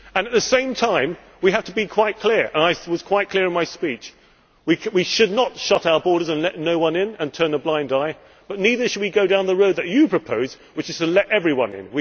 At the same time we have to be quite clear, and I was quite clear in my speech we should not shut our borders and let no one in and turn a blind eye, but neither should we go down the road that you propose, which is to let everyone in.